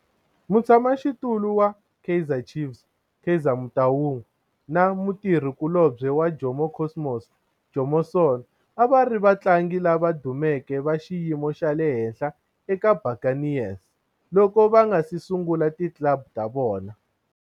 Mutshama xitulu wa Kaizer Chiefs Kaizer Motaung na mutirhi kulobye wa Jomo Cosmos Jomo Sono a va ri vatlangi lava dumeke va xiyimo xa le henhla eka Buccaneers loko va nga si sungula ti club ta vona.